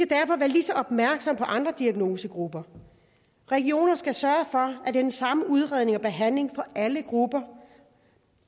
derfor være ligeså opmærksomme på andre diagnosegrupper regionerne skal sørge for at er den samme udredning og behandling for alle grupper